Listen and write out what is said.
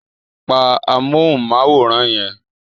Pa amóhùnmáwòrán yẹn.